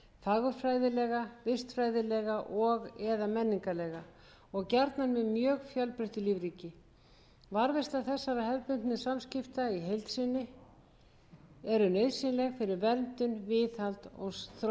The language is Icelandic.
fagurfræðilega vistfræðilega og eða menningarlega og gjarnan með mjög fjölbreyttu lífríki varðveisla þessara hefðbundnu samskipta í heild sinni er nauðsynleg fyrir verndun viðhald og þróun